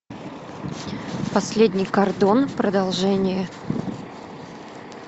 последний кордон продолжение